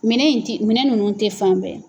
Minɛn in ti minɛn ninnu tɛ fan bɛɛ.